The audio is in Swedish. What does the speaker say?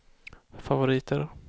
favoriter